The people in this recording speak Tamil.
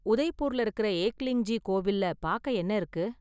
உதய்பூர்ல இருக்கற ஏக்லிங்ஜி கோவில்ல பார்க்க என்ன இருக்கு?